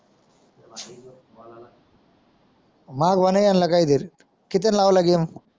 माया भवान आणला काही तरी कितीन लावला घेऊन.